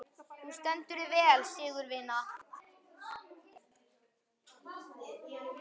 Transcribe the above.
Þú stendur þig vel, Sigurvina!